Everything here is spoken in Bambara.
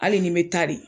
Hali ni n bɛ taa de